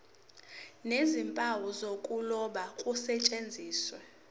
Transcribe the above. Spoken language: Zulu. nezimpawu zokuloba kusetshenziswe